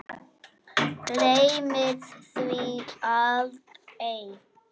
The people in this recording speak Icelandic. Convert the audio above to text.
Gleymir því aldrei.